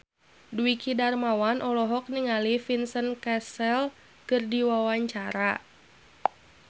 Dwiki Darmawan olohok ningali Vincent Cassel keur diwawancara